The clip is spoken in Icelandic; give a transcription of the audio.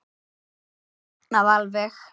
Magnað alveg